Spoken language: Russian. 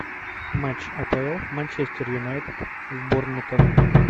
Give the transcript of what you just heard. матч апл манчестер юнайтед с борнмутом